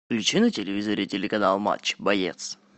включи на телевизоре телеканал матч боец